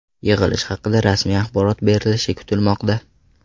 Yig‘ilish haqida rasmiy axborot berilishi kutilmoqda.